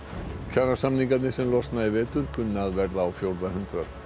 kjarasamningarnir sem losna í vetur kunna að verða á fjórða hundrað